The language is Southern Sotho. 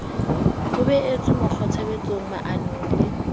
ho behetswe mekgwatshebetsong maanong le